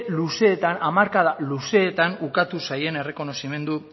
luzeetan hamarkada luzeetan ukatu zaien errekonozimendu